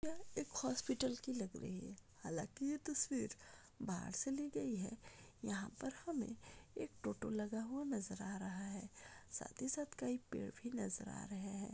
यह एक हॉस्पिटल की लग रही है हालाकी ये तस्वीर बाहर से ली गई है यहा पर हमे एक ऑटो लगा हुआ नजर या रहा है साथ ही साथ कई पेड़ भी नज़र आ रहे है।